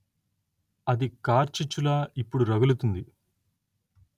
అది కార్చిచ్చులా ఇప్పుడు రగులుతుంది